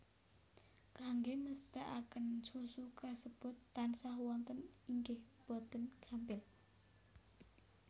Kanggé mesthèkaken susu kasebut tansah wonten inggih boten gampil